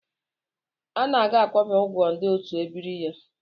Anaga akwụbeghị ụgwọ ndị otu ebiri ya.